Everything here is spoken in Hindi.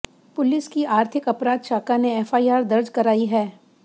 पुलिस की आर्थिक अपराध शाखा ने एफआईआर दर्ज कराई है